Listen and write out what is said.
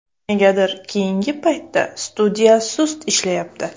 Negadir keyinga paytda studiya sust ishlayapti.